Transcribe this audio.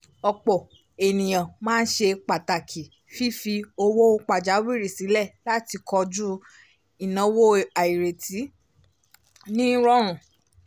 ọ̀pọ̀ ènìyàn máa ń ṣe pàtàkì fífi owó pajawìrí sílẹ̀ láti koju ináwó àìrètí ní rọrùn